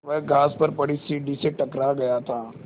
वह घास पर पड़ी सीढ़ी से टकरा गया था